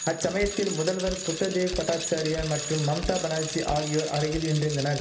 அச்சமயத்தில் முதல்வர் புத்ததேவ் பட்டாச்சாரியார் மற்றும் மம்தா பனர்ஜி ஆகியோர் அருகில் நின்றிருந்தனர்